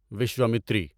Vishwamitri